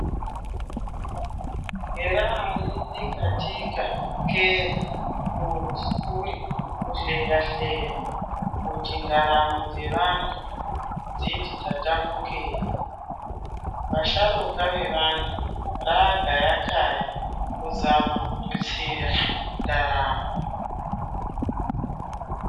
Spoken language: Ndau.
Ere katika ke kuti uri kuhleya hleya kuti ndaramo dzevantu kuti ndaramo dzevantu dziti tatamukei. Vasharuka vevantu rava gaya kaya kuzama kututsira ndaramo.